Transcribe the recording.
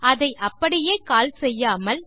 அதை அப்படியே கால் செய்யாமல்